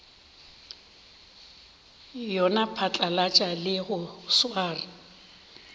yona phatlalatša le go swara